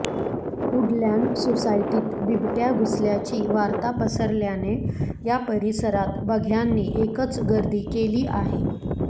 Woodland सोसायटीत बिबट्या घुसल्याची वार्ता पसरल्याने या परिसरात बघ्यांनी एकच गर्दी केली आहे